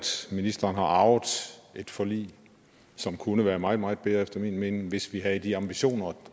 ministeren har arvet et forlig som kunne være meget meget bedre efter min mening hvis vi havde de ambitioner og